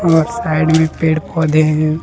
और साइड में पेड़ पौधे हैं।